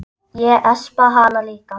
Ég espa hana líka.